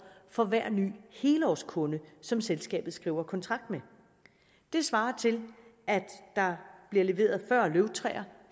for hver ny helårskunde som selskabet skriver kontrakt med det svarer til at der bliver leveret fyrre løvtræer